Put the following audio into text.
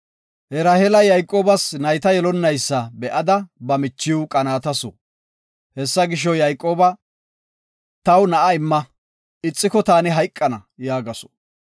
Raheela Yayqoobas nayta yelonnaysa be7ada ba michiw qanaatasu. Hessa gisho, Yayqooba, “Taw na7a imma, ixiko taani hayqana” yaagasu.